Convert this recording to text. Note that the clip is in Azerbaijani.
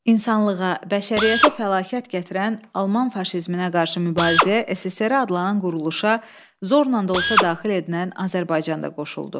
İnsanlığa, bəşəriyyətə fəlakət gətirən Alman faşizminə qarşı mübarizəyə SSRİ adlanan quruluşa zorla da olsa daxil edilən Azərbaycanda qoşuldu.